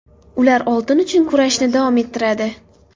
Ular oltin uchun kurashni davom ettiradi.